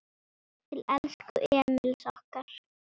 Til elsku Emils okkar.